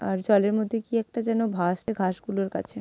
আর জলের মধ্যে কি একটা যেন ভাসছে ঘাস গুলোর কাছে--